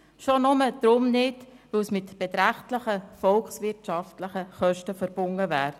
schon nur deshalb nicht, weil dies mit beträchtlichen volkswirtschaftlichen Kosten verbunden wäre.